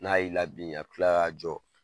N'a y'i laben a bɛ tila ka jɔ!